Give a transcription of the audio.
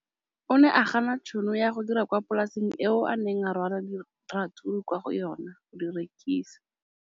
O ne a gana tšhono ya go dira kwa polaseng eo a neng rwala diratsuru kwa go yona go di rekisa.